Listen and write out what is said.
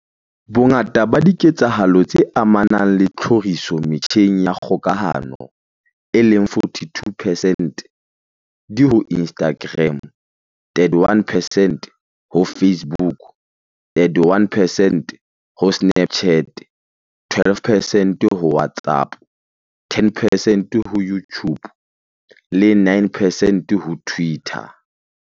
Bongata ba diketsahalo tse amanang le tlhoriso metjheng ya kgokahano, e leng 42 percent, di ho Instagram, 31 percent ho Facebook, 31 ho Snapchat, 12 percent ho WhatsApp, 10 percent ho YouTube le 9 percent ho Twitter.